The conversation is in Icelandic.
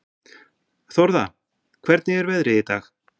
Þórða, hvernig er veðrið í dag?